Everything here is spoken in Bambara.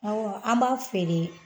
Ɔwɔ an b'a feere